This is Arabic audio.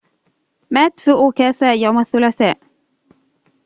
مات في أوساكا يوم الثلاثاء